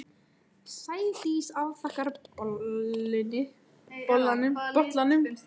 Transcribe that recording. Sædís afþakkar bolluna, segist ekki drekka áfengi frekar en Árný.